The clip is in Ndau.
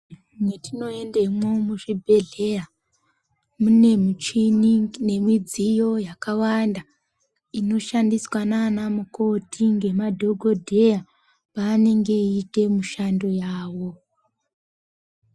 Mwatinoendemwo muzvibhedhleya mune muchini nemidziyo yakawanda inoshandiswa nana mukoti ngamadhokodheya pavanenge veiita mishando yavo.